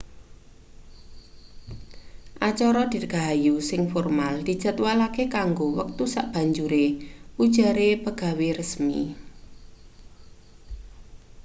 acara dirgahayu sing formal dijadwalake kanggo wektu sabanjure ujare pegawe resmi